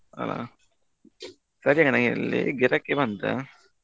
ಹಾ ಸರಿ ನನಗಿಲ್ಲಿ ಗಿರಾಕಿ ಬಂತು.